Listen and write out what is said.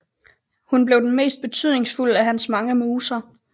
Hun blev den mest betydningsfulde af hans mange muser